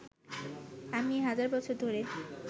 আমি হাজার বছর ধরে